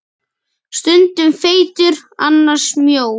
Stundum feitur, annars mjór.